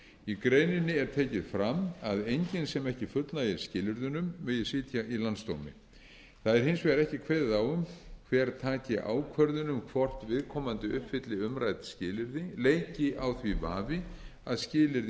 í greininni er tekið fram að enginn sem ekki fullnægir skilyrðunum megi sitja í landsdómi það er hins vegar ekki kveðið á um hver taki ákvörðun um hvort viðkomandi uppfylli umrædd skilyrði leiki á því vafi að